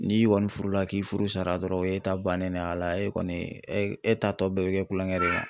N'i kɔni furula k'i furu sara dɔrɔn o ye ta bannen de ye a la e kɔni e e ta tɔ bɛɛ bɛ kɛ kulonkɛ dɔrɔn.